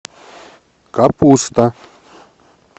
капуста